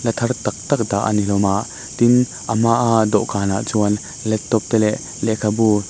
la thar tak tak dah a ni hlawm a tin a hma a dawhkanah chuan laptop te leh lehkhabu.